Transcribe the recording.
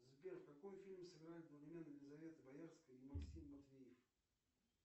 сбер в каком фильме сыграли елизавета боярская и максим матвеев